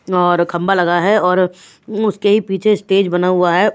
और खंबा लगा है और उसके ही पीछे स्टेज बना हुआ है।